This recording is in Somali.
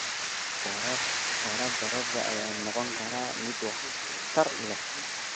Waraabka roobka ayaa noqon kara mid waxtar leh.